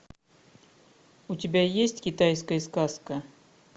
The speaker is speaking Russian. у тебя есть китайская сказка